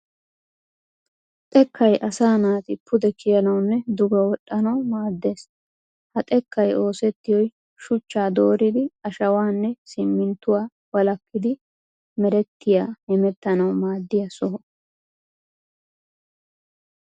Xekkay asaa naati pude kiyanawunne duge wol'anawu maaddes. Ha xekkay oosettiyoy shuchchaa dooridi ashawaanne simminttuwa walakin merettiya hemettanawu maaddiya soho.